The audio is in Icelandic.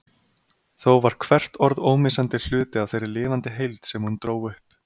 Þó var hvert orð ómissandi hluti af þeirri lifandi heild sem hún dró upp.